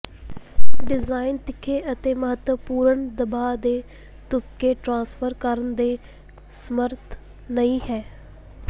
design ਤਿੱਖੇ ਅਤੇ ਮਹੱਤਵਪੂਰਣ ਦਬਾਅ ਦੇ ਤੁਪਕੇ ਟ੍ਰਾਂਸਫਰ ਕਰਨ ਦੇ ਸਮਰੱਥ ਨਹੀਂ ਹੈ